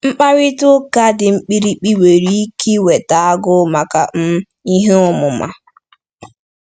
Mkparịta ụka dị mkpirikpi nwere ike iweta agụụ maka um ihe ọmụma.